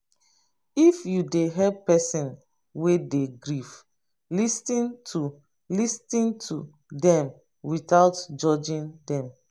if you dey help person wey dey grief lis ten to lis ten to them without judging them